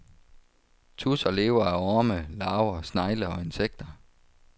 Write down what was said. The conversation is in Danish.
Tudser lever af orme, larver, snegle og insekter.